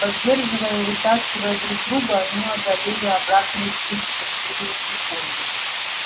поддерживая и вытаскивая друг друга они одолели обратный путь в счастливые секунды